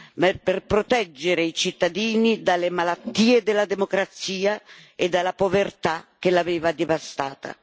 ma per proteggere i cittadini dalle malattie della democrazia e dalla povertà che l'aveva devastata.